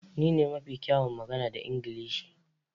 Ni ne mafi kyawun magana da Ingilishi.